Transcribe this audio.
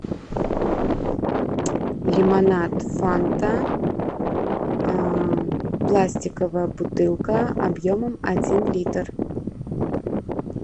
лимонад фанта пластиковая бутылка объемом один литр